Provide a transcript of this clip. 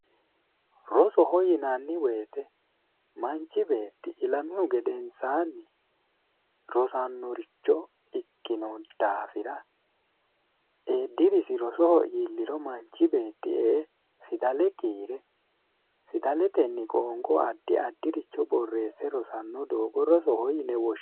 Rosoho yinanni woyte manchi beetti ilamihu gedensaanni rosannoricho ikkino daafira dirisi rosoho iilliro manchi beetti e"e fidale kiire, fidaletenni qoonqo addi addi borreesse rosano doogo rosohe yine woshshinanni